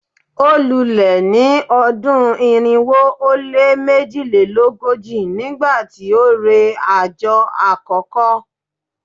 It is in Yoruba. o lule ni odun irinwo o le mejilelogoji nigbati o re ajo akoko